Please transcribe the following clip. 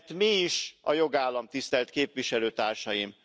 Mert mi is a jogállam, tisztelt képviselőtársaim?